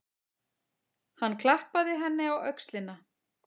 Hann klappaði henni á öxlina.